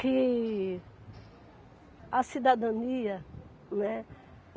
Que a cidadania, né?